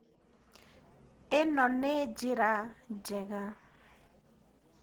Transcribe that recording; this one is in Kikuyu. ĩno nĩ njĩra njega.